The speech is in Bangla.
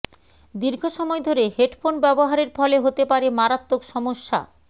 দীর্ঘ সময় ধরে হেডফোন ব্যবহারের ফলে হতে পারে মারাত্মক সমস্যা